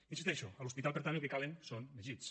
hi insisteixo a l’hospital per tant el que calen són més llits